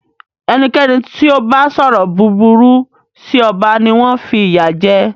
Ẹnikẹ́ni tí o bá sọrọ búburú sí ọba ni wọn fi ìyà jẹ.